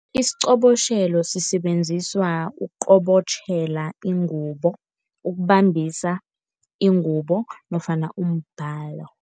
Isiqobotjhelo sisebenziswa ukuqobotjhela ingubo, ukubambisa ingubo nofana umbhalo.